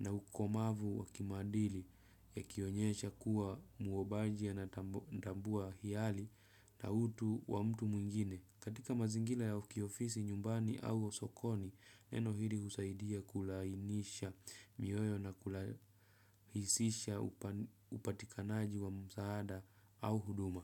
na ukomavu wa kimadili yakionyesha kuwa muobaji anatambua hiali na utu wa mtu mwingine. Katika mazingila ya kiofisi nyumbani au sokoni, neno hili usaidia kulainisha mioyo na kulahisisha upatikanaji wa msaada au huduma.